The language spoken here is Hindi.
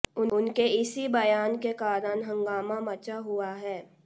उनके इसी बयान के कारण हँगामा मचा हुआ है